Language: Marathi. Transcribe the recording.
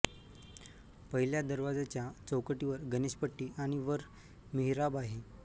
पहिल्या दरवाज्याच्या चौकटीवर गणेशपट्टी आणि वर मिहराब आहे